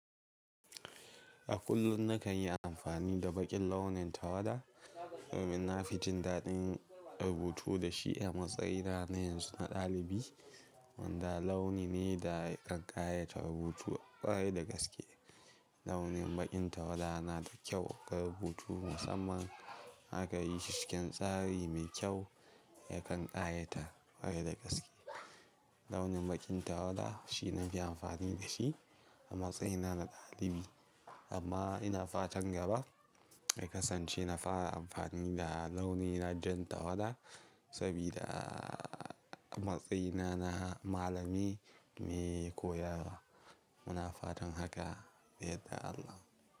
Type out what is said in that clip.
A kullum na kan yi amfani da baƙin launin tawada. Dan nafi jin daɗin rubutu da shi a matsayina na ɗalibi. Wanda launi ne da kan ƙayatar rubutu ƙwarai da gaske. Launin baƙin tawada na da kyau ga rubutu, musamman in aka yi shi cikin tsari mai kyau yakan ƙayatar kwarai da gaske. Launin baƙin tawada shi na fi amfani da shi a matsayina na ɗalibi. Amma ina fatan gaba in kasance na fara amfani da launin jan tawada saboda a matsayina na malami mai koyarwa. Muna fatan haka, yadda Allah.